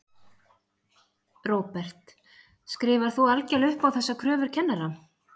Róbert: Skrifar þú algjörlega upp á þessar kröfur kennara?